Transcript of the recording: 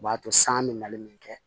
O b'a to san bɛ mali min kɛ